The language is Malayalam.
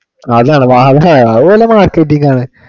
അതാണ് വാങ്ങണയാണ് അത് വല്ല marketing ആണ്